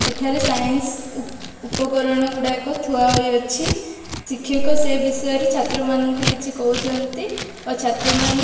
ଏଠାରେ ସାଇନସ ଉପକରଣ ଗୁଡାକ ଥୁଆ ହୋଇଅଛି। ଶିକ୍ଷକ ସେ ବିଷୟରେ ଛାତ୍ରମାନଙ୍କୁ କିଛି କହୁଛନ୍ତି ଓ ଛାତ୍ରମାନେ --